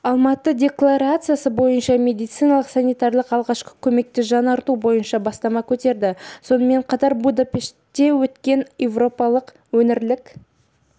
алматы декларациясы бойынша медициналық-санитариялық алғашқы көмекті жаңарту бойынша бастама көтерді сонымен қатар будапештте өткен еуропалық өңірлік